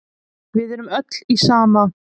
Við erum öll í sama